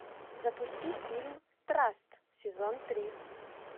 запусти фильм траст сезон три